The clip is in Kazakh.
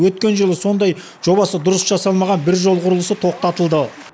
өткен жылы сондай жобасы дұрыс жасалмаған бір жол құрылысы тоқтатылды